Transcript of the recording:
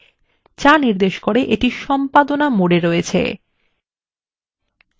যা নির্দেশ করে এইটি সম্পাদনা mode রয়েছে